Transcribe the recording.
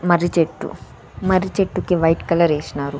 మర్రి చెట్టు మర్రి చెట్టుకి వైట్ కలర్ ఎస్నారు.